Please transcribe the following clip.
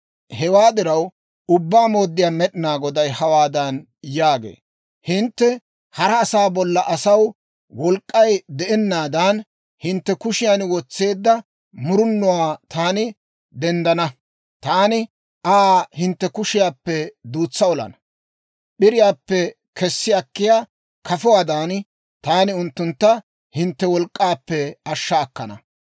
« ‹Hewaa diraw, Ubbaa Mooddiyaa Med'inaa Goday hawaadan yaagee; «Hintte hara asaa bollan asaw wolk'k'ay de'anaadan, hintte kushiyan wotseedda murunuwaa taani dentsana. Taani Aa hintte kushiyaappe duutsa olana; p'iriyaappe kessi akkiyaa kafuwaadan, taani unttuntta hintte wolk'k'aappe ashsha akkana.